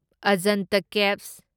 Ajanta caves